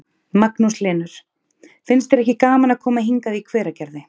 Magnús Hlynur: Finnst þér ekki gaman að koma hingað í Hveragerði?